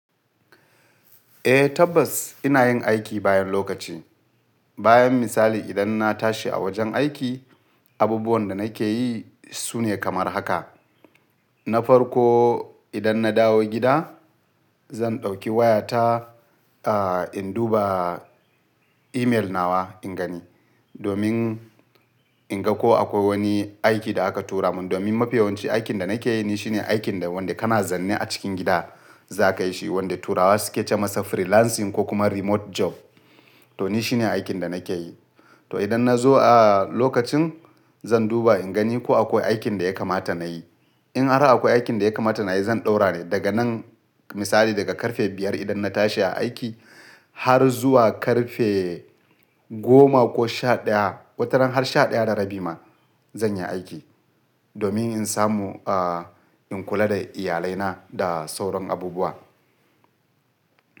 Eh tabbas ina yin aiki bayan lokaci. Bayan misali idan na tashi a wajen aiki, abubuwan da nake yi sune kamar haka. Na farko idan na dawo gida zan ɗauki wayata, a in duba email nawa in gani. Domin in ga ko akwai wani aiki da aka tura mun. Domin mafiyawanci aikin da nake yi shi ne aikin da wanda kana zanne a cikin gida za ka yi shi. Wanda turawa suke ce masa freelancing ko kuma remote job. To ni shi ne aikin da nake yi. To idan na zo a lokacin zan duba in gani ko akwai aikin da ya kamata na yi. In har akwai aikin da ya kamata na yi zan ɗaura ne daga nan misali daga karfe biyar idan na tashi a aiki har zuwa karfe goma ko sha ɗaya, wataran har sha ɗaya da rabi ma zan yi aiki. Domin in samu a in kula da iyalaina da sauran abubuwa.